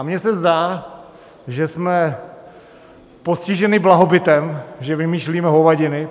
A mně se zdá, že jsme postiženi blahobytem, že vymýšlíme hovadiny.